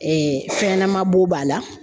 fɛn ɲɛnama bo b'a la